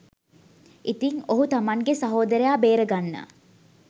ඉතිං ඔහු තමන්ගේ සහෝදරයා බේරගන්න